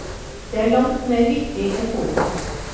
Det er langt mer viktig enn fotball.